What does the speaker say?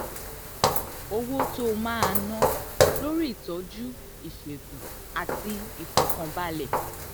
owó um tó o máa ná um lórí ìtọ́jú ìṣègùn àti ìfọ̀kànbalẹ̀.